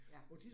Ja